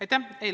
Aitäh!